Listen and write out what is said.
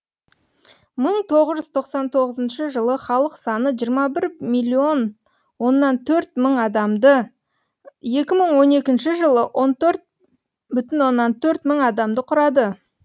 мың тоғыз жүз тоқсан тоғызыншы жылы халық саны жиырма бір миллион оннан төрт мың адамды екі мың он екінші жылы он төрт бүтін оннан төрт мың адамды құрады